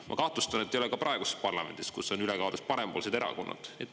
Ma kahtlustan, et ei ole ka praeguses parlamendis, kus on ülekaalus parempoolsed erakonnad.